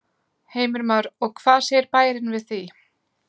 Heimir Már: Og hvað segir bærinn við því?